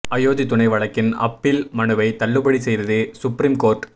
அயோத்தி துணை வழக்கின் அப்பீல் மனுவை தள்ளுபடி செய்தது சுப்ரீம் கோர்ட்